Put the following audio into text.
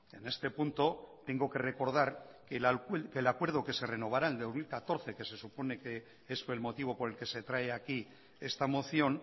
en este punto tengo que recordar que el acuerdo que se renovará en dos mil catorce que se supone que es el motivo por el que se trae aquí esta moción